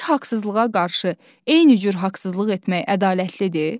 Bir haqsızlığa qarşı eyni cür haqsızlıq etmək ədalətlidir?